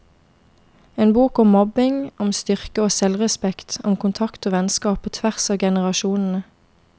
En bok om mobbing, om styrke og selvrespekt, om kontakt og vennskap på tvers av generasjonene.